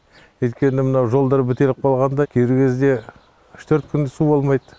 өйткені мынау жолдар бітеліп қалғанда кейбір кезде үш төрт күн су болмайды